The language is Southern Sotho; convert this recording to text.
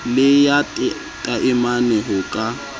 le ya taemane ho ka